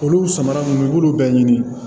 Olu samara nunnu i b'olu bɛɛ ɲini